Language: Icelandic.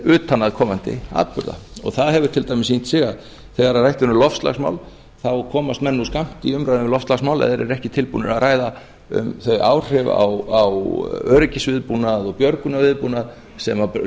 utanaðkomandi atburða það hefur til dæmis sýnt sig að þegar rætt er um loftslagsmál þá komast menn nú skammt í umræðu um loftslagsmál ef þeir eru ekki tilbúnir að ræða um þau áhrif á öryggisviðbúnað og björgunarviðbúnað sem